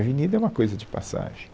A Avenida é uma coisa de passagem.